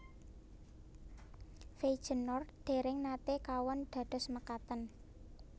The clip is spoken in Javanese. Feijenoord dèrèng naté kawon kados mekaten